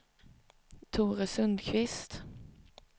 Tore Sundkvist